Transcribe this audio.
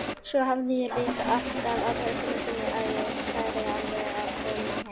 Svo hafði ég líka alltaf á tilfinningunni að ég færi alveg að koma heim.